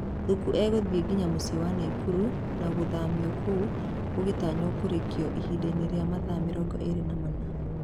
Thuku egũthiĩ nginya mũciĩ wa Naikuru na gũthamio kũu gũgĩtanywo kũrĩkio ihindainĩ rĩa mathaa mĩrongo ĩrĩ na mana.